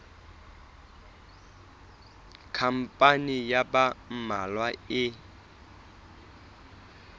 khampani ya ba mmalwa e